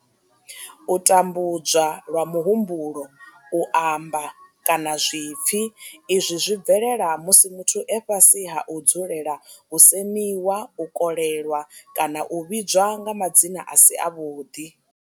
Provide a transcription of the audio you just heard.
U tambudzwa lwa muhumbulo, u amba, kana zwipfi izwi zwi bvelela musi muthu e fhasi ha u dzulela u semiwa, u kolelwa kana u vhidzwa nga madzina a si avhuḓi.